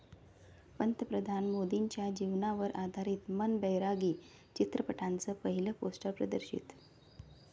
पंतप्रधान मोदींच्या जीवनावर आधारित 'मन बैरागी' चित्रपटाचं पहिलं पोस्टर प्रदर्शित